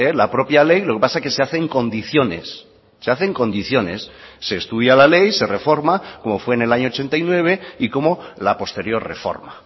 la propia ley lo que pasa es que se hace en condiciones se hace en condiciones se estudia la ley se reforma como fue en el año ochenta y nueve y como la posterior reforma